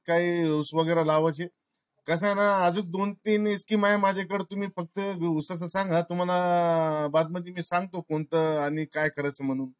काय ऊस वगैरे लावयचि? कासय ना अजून दोन तीन इतकी माया माझ्या कड तुम्ही फक्त ऊसा च सांगा तुम्हाला बाकीचा मी सांगतो कोणत आणि काय करायच म्हणून